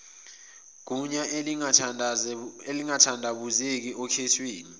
gunya elingathandabuzeki okhethweni